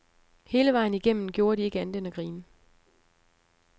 Hele vejen igennem gjorde de ikke andet end at grine.